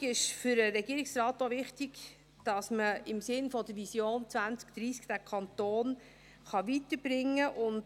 Die Fondslösung ist für den Regierungsrat auch wichtig, weil man im Sinne der Vision 2030 diesen Kanton weiterbringen kann.